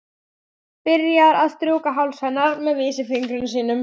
Byrjar að strjúka háls hennar með vísifingri sínum.